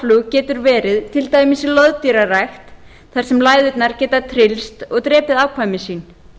lágflug getur verið til dæmis í loðdýrarækt þar sem líkurnar geta tryllst og drepið afkvæmi sín